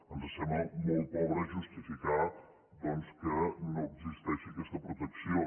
ens sembla molt pobre justificar doncs que no existeixi aquesta protecció